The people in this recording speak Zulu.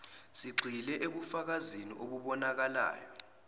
sigxile ebufakazini obubonakalayo